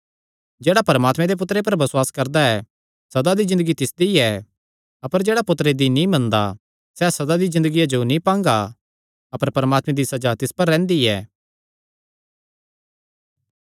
जेह्ड़ा परमात्मे दे पुत्तरे पर बसुआस करदा ऐ सदा दी ज़िन्दगी तिसदी ऐ अपर जेह्ड़ा पुत्तरे दी नीं मनदा सैह़ सदा दी ज़िन्दगिया जो नीं पांगा अपर परमात्मे दी सज़ा तिस पर रैंह्दी ऐ